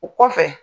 O kɔfɛ